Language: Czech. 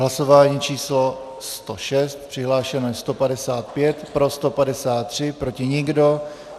Hlasování číslo 106, přihlášeno je 155, pro 153, proti nikdo.